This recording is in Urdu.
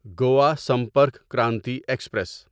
گوا سمپرک کرانتی ایکسپریس